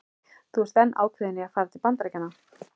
Þú ert enn ákveðin í að fara til Bandaríkjanna?